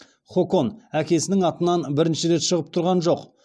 хокон әкесінің атынан бірінші рет шығып тұрған жоқ